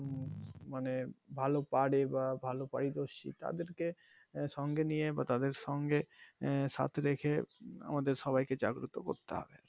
মানে ভালো পারে বা ভালো পারদর্সি তাদের সঙ্গে নিয়ে বা তাদের সঙ্গে সাথে রেখে আমাদের সবাইকে জাগ্রুত করতে হবে,